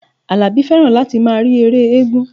Àlàbí fẹ́ràn láti máa rí ère éégún